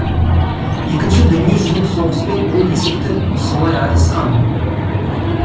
екінші дүние жүзілік соғыспен ол есепті солай айырысқан